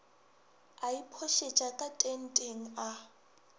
a iphošetša ka tenteng a